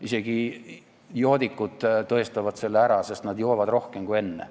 Isegi joodikud tõestavad selle ära, sest nad joovad rohkem kui enne.